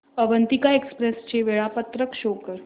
Avantika express चे वेळापत्रक show कर